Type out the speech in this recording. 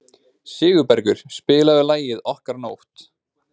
Sigurbergur, spilaðu lagið „Okkar nótt“.